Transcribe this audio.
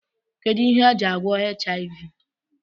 Kedu ihe e ji agwọ HIV?